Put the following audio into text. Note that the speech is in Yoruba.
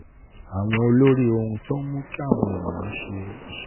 àwọn olórí ohun tó ń mú káwọn èèyàn ṣe ìṣirò